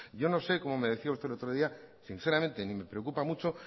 yo no sé como me decía usted el otro día sinceramente ni me preocupa mucho